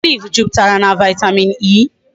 Olive juputara na vitamin E